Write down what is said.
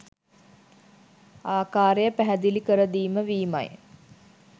ආකාරය පැහැදිළි කර දීම වීමයි.